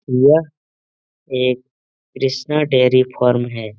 यह एक Krishna dairy farm है।